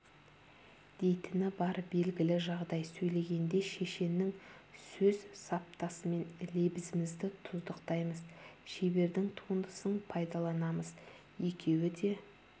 дейтіні бар белгілі жағдай сөйлегенде шешеннің сөз саптасымен лебізімізді тұздықтаймыз шебердің туындысын пайдаланамыз екеуі де